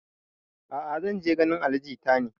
A'a zan je ganin ali jita ne